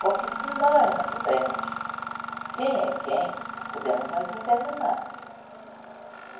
Porque se nós não soubermos quem é quem, podemos nos envenenar.